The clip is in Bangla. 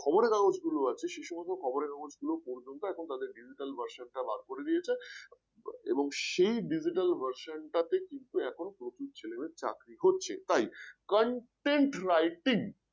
খবরের কাগজগুলো আছে সে সমস্ত খবরের কাগজগুলো পর্যন্ত এখন তাদের digital version টা বার করে দিয়েছে এবং সেই digital version টাতে কিন্তু এখন প্রচুর ছেলেমেয়ে চাকরি করছে। তাই content writing